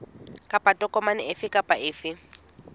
kapa tokomane efe kapa efe